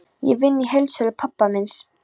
Ég vinn í heildsölu pabba míns.